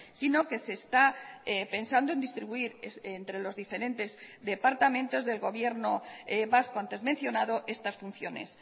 sino que se está pensando en distribuir entre los diferentes departamentos del gobierno vasco antes mencionado estas funciones